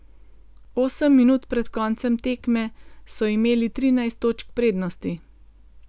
Osem minut pred koncem tekme so imeli trinajst točk prednosti.